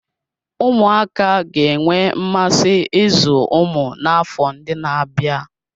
Ụmụaka ga-enwe mmasị ịzụ ụmụ n'afọ ndị na-abịa.